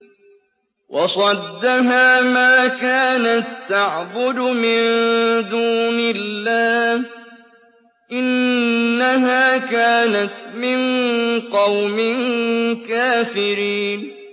وَصَدَّهَا مَا كَانَت تَّعْبُدُ مِن دُونِ اللَّهِ ۖ إِنَّهَا كَانَتْ مِن قَوْمٍ كَافِرِينَ